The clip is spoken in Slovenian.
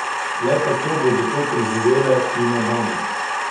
Le kako bodo to preživele fine dame!